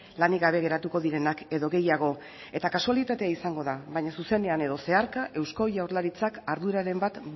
lanik gabe geratuko direnak edo gehiago eta kasualitatea izango da baina zuzenean edo zeharka eusko jaurlaritzak arduraren bat